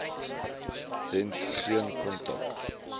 dent geen kontak